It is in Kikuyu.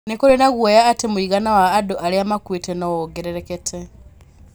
Nĩ kũrĩ na guoya atĩ mũigana wa andũ arĩa makuĩte no wongerereke.